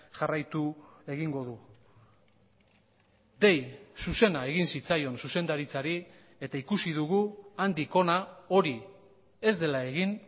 jarraitu egingo du dei zuzena egin zitzaion zuzendaritzari eta ikusi dugu handik hona hori ez dela egin